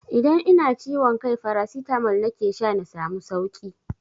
Idan ina ciwon kai farasitamol nake sha na samu sauki.